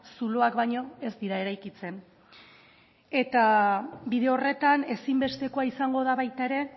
zuloak baino ez dira eraikitzen bide horretan ezinbestekoa izango da baita ere